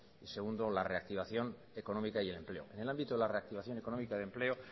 y segundo la reactivación económica y del empleo en el ámbito de la reactivación económica de empleo